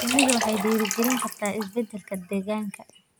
Shinnidu waxay dhiirigelin kartaa isbeddelka deegaanka.